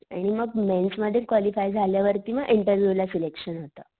आणि मग मेंस मध्ये कॉलिफाय झाल्यावर मग इंटरविव ला सिलेक्टिव होत.